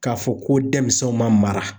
K'a fɔ ko denmisɛnw ma mara